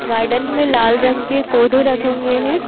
Garden में लाल रंग के पौधे रखे हुए हैं।